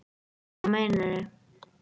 Hvað meinaru